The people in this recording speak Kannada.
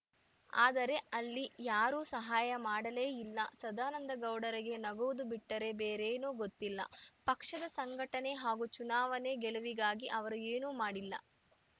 ಆದರೆ ಅಲ್ಲಿ ಯಾರೂ ಸಹಾಯ ಮಾಡಲೇ ಇಲ್ಲ ಸದಾನಂದಗೌಡರಿಗೆ ನಗುವುದು ಬಿಟ್ಟರೆ ಬೇರೇನೂ ಗೊತ್ತಿಲ್ಲ ಪಕ್ಷದ ಸಂಘಟನೆ ಹಾಗೂ ಚುನಾವಣೆ ಗೆಲುವಿಗಾಗಿ ಅವರು ಏನೂ ಮಾಡಿಲ್ಲ